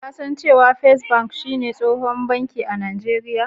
kasan da cewa " first bank" shi ne tsohon banki a najeria?